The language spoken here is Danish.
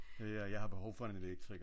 Ja jeg har behov for en elektriker